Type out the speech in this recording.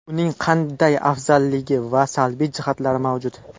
Uning qanday afzalligi va salbiy jihatlari mavjud?